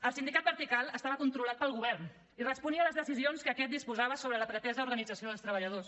el sindicat vertical estava controlat pel govern i responia a les decisions que aquest disposava sobre la pretesa organització dels treballadors